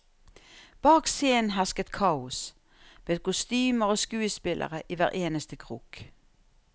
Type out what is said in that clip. Bak scenen hersket kaos, med kostymer og skuespillere i hver eneste krok.